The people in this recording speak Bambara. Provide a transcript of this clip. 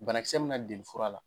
Banakisɛ min ma deli fura la.